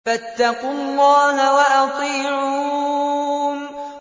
فَاتَّقُوا اللَّهَ وَأَطِيعُونِ